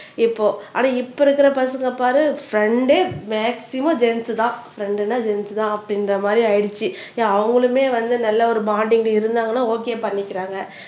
இப்போ அட இப்ப இருக்குற பசங்க பாரு ஃப்ரண்டு மேக்சிமம் ஜென்ஸ் தான் ஃப்ரண்டுன்னா ஜென்ஸ் தான் அப்படின்குற மாதிரி ஆயிடுச்சு அவங்களுமே வந்து நல்ல ஒரு பாண்டிங்கள இருந்தாங்கன்னா ஓகே பண்ணிக்கிறாங்க